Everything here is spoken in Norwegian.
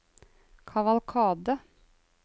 kavalkade